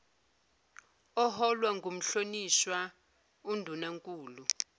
oholwa ngumhlonishwa undunankulu